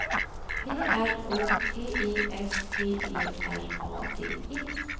P R O T E S T E R A D E